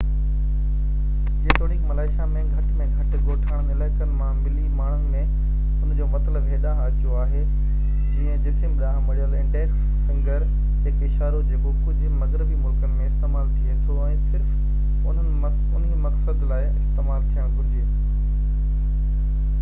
جيتوڻيڪ ملائيشيا ۾ گهٽ ۾ گهٽ ڳوٺاڻن علائقن مان ملي ماڻهن ۾ ان جو مطلب هيڏانهن اچو آهي جيئن جسم ڏانهن مڙيل انڊيڪس فنگر هڪ اشارو جيڪو ڪجهه مغربي ملڪن ۾ استعمال ٿئي ٿو ۽ صرف انهي مقصد لاءِ استعمال ٿيڻ گهرجي